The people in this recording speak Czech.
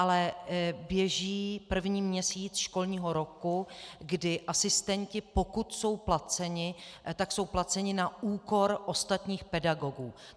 Ale běží první měsíc školního roku, kdy asistenti, pokud jsou placeni, tak jsou placeni na úkor ostatních pedagogů.